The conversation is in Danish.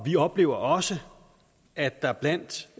vi oplever også at der blandt